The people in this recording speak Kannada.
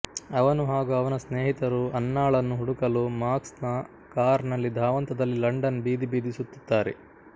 ಅವನು ಹಾಗು ಅವನ ಸ್ನೇಹಿತರು ಅನ್ನಾಳನ್ನು ಹುಡುಕಲು ಮಾಕ್ಸ್ ನ ಕಾರ್ ನಲ್ಲಿ ಧಾವಂತದಲ್ಲಿ ಲಂಡನ್ ಬೀದಿ ಬೀದಿ ಸುತ್ತುತ್ತಾರೆ